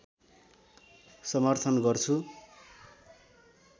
समर्थन गर्छु